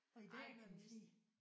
Og i dag kan man sige